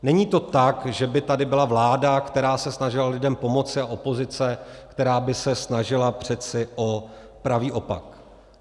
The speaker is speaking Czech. Není to tak, že by tady byla vláda, která se snažila lidem pomoci, a opozice, která by se snažila přece o pravý opak.